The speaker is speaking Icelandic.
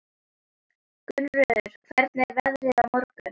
Gunnröður, hvernig er veðrið á morgun?